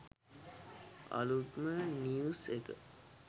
අලුත්ම නිව්ස් එක